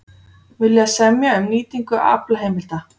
Vilja semja um nýtingu aflaheimilda